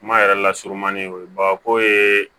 Kuma yɛrɛ lasurunmanin o ye bagako ye